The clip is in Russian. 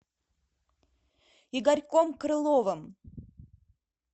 игорьком крыловым